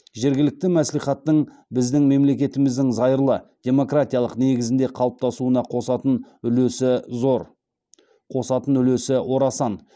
жергілікті мәслихаттың біздің мемлекетіміздің зайырлы демократиялық негізінде қалыптасуына қосатын үлесі зор қосатын үлесі орасан